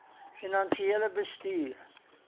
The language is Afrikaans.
finansiële bestuur